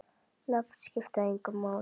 Nöfn skipta engu máli.